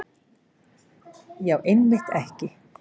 Já, einmitt ekki.